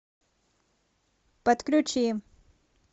подключи